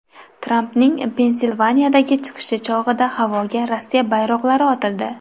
Trampning Pensilvaniyadagi chiqishi chog‘ida havoga Rossiya bayroqlari otildi.